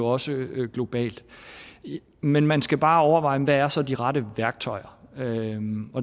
også globalt men man skal bare overveje hvad er så de rette værktøjer